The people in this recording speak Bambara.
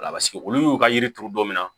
Wala paseke olu y'u ka yiri turu don min na